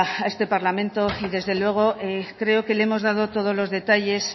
a este parlamento y desde luego creo que le hemos dado todos los detalles